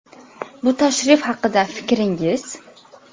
Bu tashrif haqida fikringiz.